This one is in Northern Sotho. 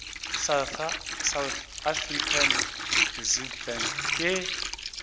south african reserve bank ke